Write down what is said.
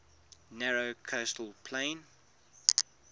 narrow coastal plain